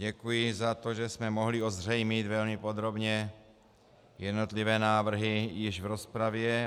Děkuji za to, že jsme mohli ozřejmit velmi podrobně jednotlivé návrhy již v rozpravě.